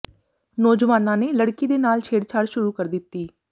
ਨੌਜਵਾਨਾਂ ਨੇ ਲੜਕੀ ਦੇ ਨਾਲ ਛੇੜਛਾੜ ਸ਼ੁਰੂ ਕਰ ਦਿੱਤੀ